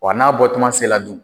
Wa n'a bɔ tuma se la dun